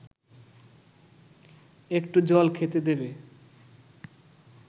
একটু জল খেতে দেবে